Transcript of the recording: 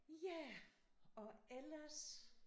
Ja og ellers